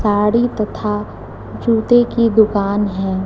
साड़ी तथा जूते की दुकान है।